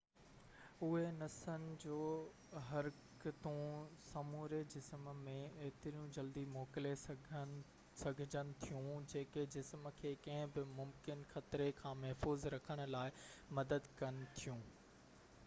اهي نسن جو حرڪتون سموري جسم ۾ ايتريون جلدي موڪلي سگهجن ٿيون جيڪي جسم کي ڪنهن بہ ممڪن خطري کان محفوظ رکڻ لاءِ مدد ڪن ٿيون